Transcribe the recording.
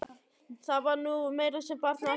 Það var nú meira sem barnið ætlaði að geta lifað.